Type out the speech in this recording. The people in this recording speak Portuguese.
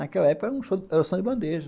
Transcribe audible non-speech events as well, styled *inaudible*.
Naquela época era o *unintelligible* som de bandeja.